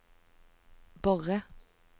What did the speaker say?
Borre